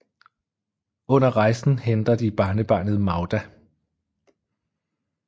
Under rejsen henter de barnebarnet Magda